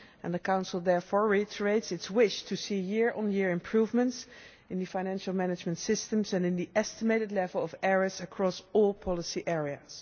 The Council therefore reiterates its wish to see year-on year improvements in the financial management systems and in the estimated level of errors across all policy areas.